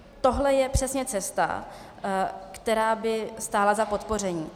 Tohle je přesně cesta, která by stála za podpoření.